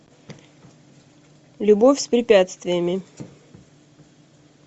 любовь с препятствиями